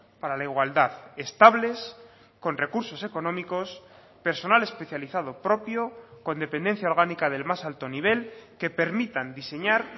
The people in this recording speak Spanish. para la igualdad estables con recursos económicos personal especializado propio con dependencia orgánica del más alto nivel que permitan diseñar